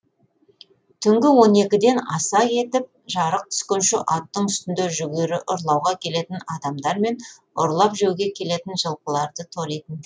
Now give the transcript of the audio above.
түнгі он екіден аса кетіп жарық түскенше аттың үстінде жүгері ұрлауға келетін адамдар мен ұрлап жеуге келетін жылқыларды торитын